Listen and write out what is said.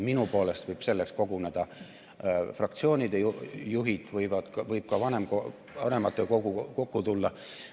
Minu poolest võivad selleks koguneda fraktsioonide juhid, võib ka vanematekogu kokku tulla.